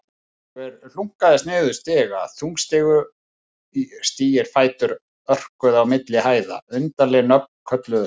Einhver hlunkaðist niður stiga, þungstígir fætur örkuðu á milli hæða, undarleg nöfn kölluðust á.